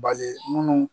Balimun